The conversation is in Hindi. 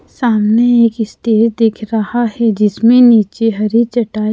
सामने एक स्टेज दिख रहा है जिसमे नीचे हरी चटाई--